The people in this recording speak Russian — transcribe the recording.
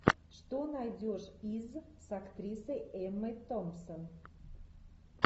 что найдешь из с актрисой эммой томпсон